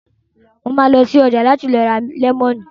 Mo ma lọ sí ọjà lọ́la láti lọ ra lẹ́mọ̀nù